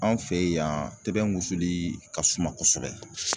Anw fɛ yen yan tɛbɛn wusuli ka suma kosɛbɛ